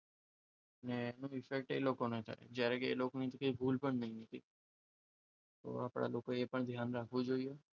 અને એનું result એ લોકો કરવાની જ્યારે જ્યારે ભૂલ પણ નથી થતી તો આપણા લોકોએ પણ ધ્યાન રાખવું જોઈએ